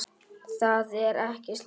Það er ekki slæmt.